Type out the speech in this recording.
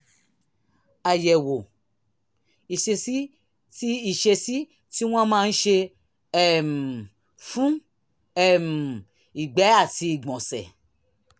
àyẹ̀wò ìṣesí tí ìṣesí tí wọ́n máa ń ṣe um fún um ìgbẹ́ àti ìgbọ̀nsẹ̀